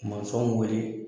Masɔnw wele